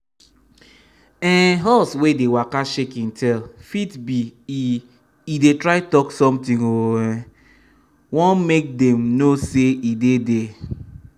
um horse wey dey waka shake im tail fit be e e dey try talk something o um wan may dem know say e dey there